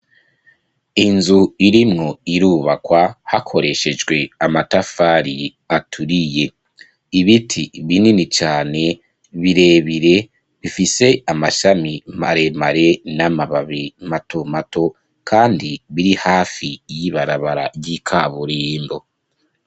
Inzu irimwo irubakwa, hakoreshejwe amatafari aturiye; ibiti binini cane, birebire, bifise amashami maremare, n'amababi mato mato, kandi biri hafi y'ibarabara ry'ikaburimbo.